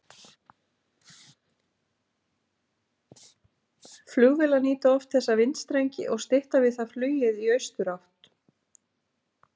Flugvélar nýta oft þessa vindstrengi og stytta við það flugið í austurátt.